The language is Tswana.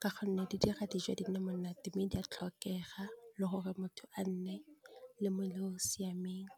ka gonne di dira di jwa di nne monate mme di a tlhokega le gore motho a nne le mmele o siameng.